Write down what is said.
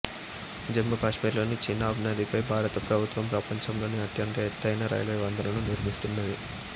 జమ్మూ కాశ్మీర్ లోని చీనాబ్ నది పై భారత ప్రభుత్వం ప్రపంచంలోనే అత్యంత ఎత్తయిన రైల్వే వంతెనను నిర్మిస్తున్నది